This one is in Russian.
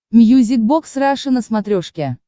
мьюзик бокс раша на смотрешке